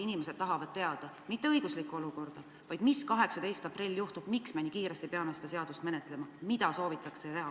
Inimesed tahavad teada, mitte õigusliku olukorra kohta, vaid seda, mis 18. aprillil juhtub, miks me nii kiiresti peame seda seadust menetlema, mida soovitakse teha.